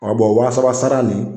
wa saba sara nin